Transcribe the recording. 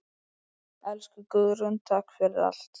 Elsku Guðrún, takk fyrir allt.